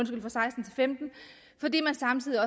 fordi man samtidig